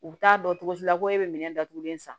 U bɛ taa dɔn cogo si la ko e bɛ minɛn datugulen san